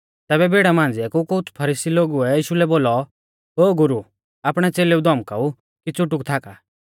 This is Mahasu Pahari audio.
तैबै भीड़ा मांझ़िया कु कुछ़ फरीसी लोगुऐ यीशु लै बोलौ ओ गुरु आपणै च़ेलेऊ धौमकाऊ कि च़ुटुक थाका